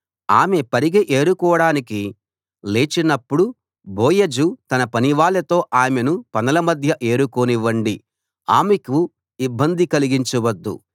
ఆమె పరిగె ఏరుకోడానికి లేచినప్పుడు బోయజు తన పనివాళ్ళతో ఆమెను పనల మధ్య ఏరుకోనివ్వండి ఆమెకు ఇబ్బంది కలిగించవద్దు